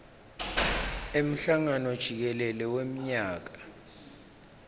emhlangano jikelele wemnyaka